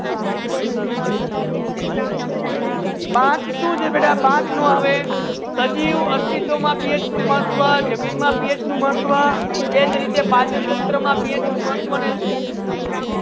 path સુ છે બેટા પાથ ના આવે સજીવના અસ્તિત્વમાં પીએચનું મહત્ત્વ, જમીનમાં પીએચનું મહત્ત્વ, પાચનતંત્રમાં PH નું મહત્ત્વ